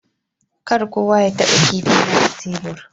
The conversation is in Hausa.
Kar kowa ya taba kipi na a tebur.